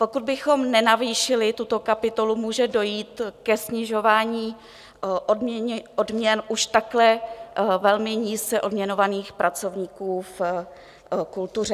Pokud bychom nenavýšili tuto kapitolu, může dojít ke snižování odměn už takhle velmi nízce odměňovaných pracovníků v kultuře.